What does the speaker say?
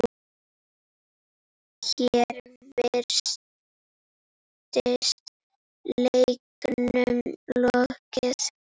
Hér virtist leiknum lokið.